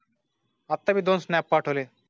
आता मी दोन स्नॅप पाठवले